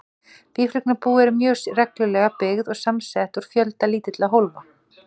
Býflugnabú eru mjög reglulega byggð og samsett úr fjölda lítilla hólfa.